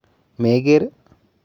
Meger?